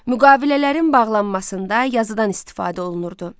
Müqavilələrin bağlanmasında yazıdan istifadə olunurdu.